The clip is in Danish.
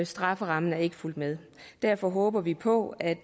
strafferammen er ikke fulgt med derfor håber vi på at